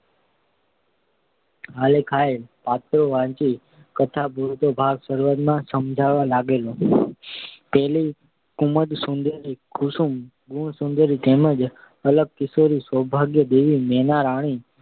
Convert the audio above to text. આલેખાયેલાં પાત્રો વાંચી કથા પૂરતો ભાગ શરૂઆતમાં સમજાવા લાગેલો. પેલી કુમુદસુંદરી કુસુમ ગુણસુંદરી તેમ જ અલકિશોરી સૌભાગ્યદેવી મેનારાણી